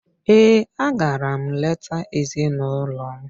Ee, a gara m leta ezinụlọ m.